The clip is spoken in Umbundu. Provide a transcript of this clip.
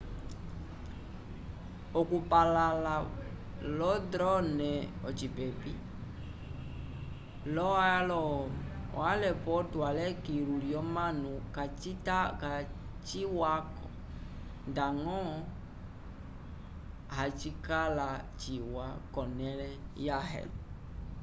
okupalãla lo-drone ocipepi lo-aelopotu ale kilu lyomanu kaciwa-ko ndañgo hacikala ciwa k'onẽle yãhe